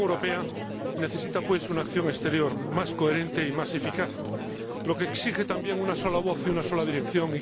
La Unión Europea necesita, pues, una acción exterior más coherente y más eficaz, lo que exige también una sola voz y una sola dirección.